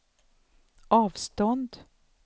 avstånd